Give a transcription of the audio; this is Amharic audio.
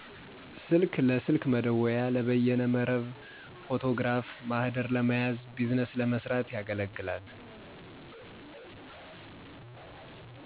ስልክ ለስልክ መደወያ፣ ለበይነ መረብ፣ ፎቶግራፍ፣ ማህደር ለመያዝ፣ ቢዝነስ ለመስራት